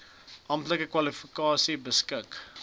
amptelike kwalifikasies beskik